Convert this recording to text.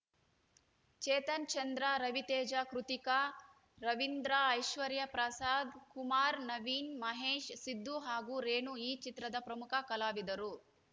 ಚೇತನ್‌ಚಂದ್ರ ರವಿತೇಜ ಕೃತಿಕಾ ರವೀಂದ್ರ ಐಶ್ವರ್ಯ ಪ್ರಸಾದ್‌ ಕುಮಾರ್‌ ನವೀನ್‌ ಮಹೇಶ್‌ ಸಿದ್ದು ಹಾಗೂ ರೇಣು ಈ ಚಿತ್ರದ ಪ್ರಮುಖ ಕಲಾವಿದರು